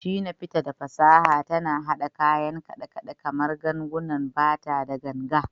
Shina Peters, da fasaha tana haɗa kayan kidan kaɗe-kaɗe kamar gangunan bata da ganga.